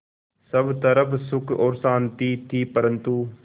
सब तरफ़ सुख और शांति थी परन्तु